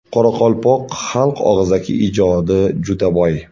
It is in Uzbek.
Qoraqalpoq xalq og‘zaki ijodi juda boy.